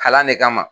Kalan ne kama